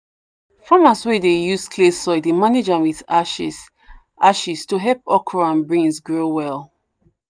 farmers wey dey use clay soil dey manage am with ashes ashes to help okra and beans grow well.